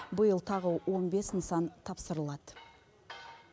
биыл тағы он бес нысан тапсырылады